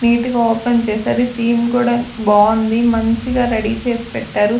Neat గా open చేసది theme కూడా బావుంది మంచిగా రెడీ చేసి పెట్టారు.